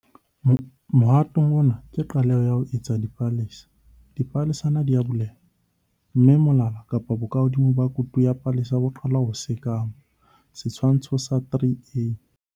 Mohato ona ke qaleho ya ho etsa dipalesa. Dipalesana di a buleha, mme molala kapa bokahodimo ba kutu ya palesa bo qala ho sekama, Setshwantsho sa 3a.